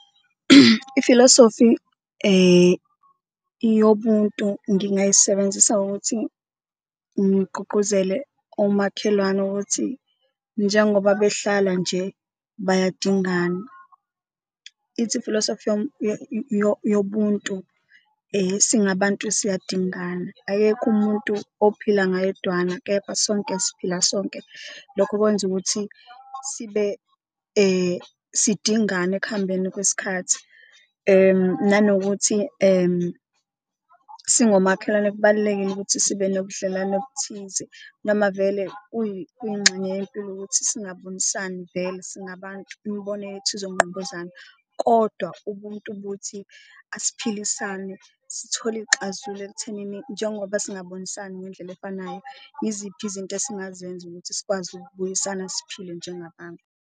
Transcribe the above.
Ifilosofi yobuntu ngingayisebenzisa ngokuthi ngigqugquzele omakhelwane ukuthi njengoba behlala nje bayadingana, ithi ifilosofi yobuntu singabantu siyadingana, ayekho umuntu ophila ngayedwana, kepha sonke siphila sonke. Lokho okwenza ukuthi sidingane ekuhambeni kwesikhathi nanokuthi singomakhelwane kubalulekile ukuthi sibe nobudlelwane obuthize noma vele kuyingxenye yempilo ukuthi singabonisani vele singabantu imibono yethu izonqubuzana. Kodwa ubuntu buthi asiphilisane, sithole iy'xazululo ekuthenini njengoba singabonisani ngendlela efanayo, iziphi izinto esingazenza ukuthi sikwazi ukubuyisana siphile njengabantu.